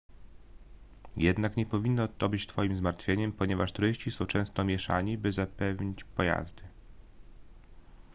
jednak nie powinno to być twoim zmartwieniem ponieważ turyści są często mieszani by zapełnić pojazdy